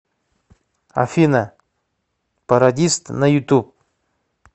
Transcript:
афина пародист на ютуб